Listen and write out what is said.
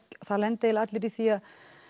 það lenda eiginlega allir í því